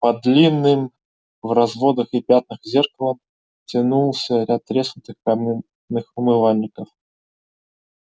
под длинным в разводах и пятнах зеркалом тянулся ряд треснутых каменных умывальников